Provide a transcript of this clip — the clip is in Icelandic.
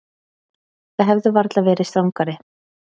Þið hefðuð varla verið strangari.